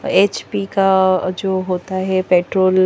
H P का अ जो होता है पेट्रोल --